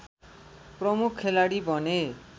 प्रमुख खेलाडी बने